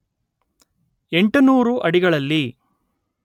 ಎಂಟುನೂರು ಅಡಿಗಳಲ್ಲಿ